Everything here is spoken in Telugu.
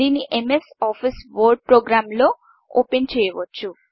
దీన్ని ఎంఎస్ ఆఫీస్ వర్డ్ ప్రోగ్రామ్లో ఓపెన్చేయవచ్చు